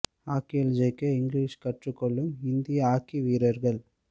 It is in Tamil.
ஹாக்கியில் ஜொலிக்க இங்கிலீஷ் கற்றுக் கொள்ளும் இந்திய ஹாக்கி வீரர்கள்